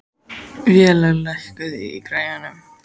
Vélaug, lækkaðu í græjunum.